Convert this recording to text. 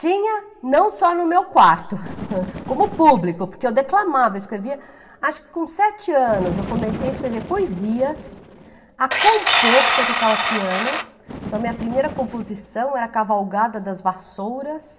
Tinha, não só no meu quarto, como público, porque eu declamava, eu escrevia... Acho que com sete anos eu comecei a escrever poesias, a compor, porque eu tocava piano, então minha primeira composição era A Cavalgada das Vassouras,